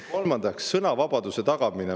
Kolmandaks, sõnavabaduse tagamine.